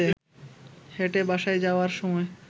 হেঁটে বাসায় যাওয়ার সময়